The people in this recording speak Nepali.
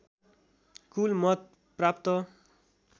कुल मत प्राप्त